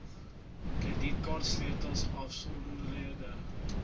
kredietkaarte sleutels afstandbeheereenhede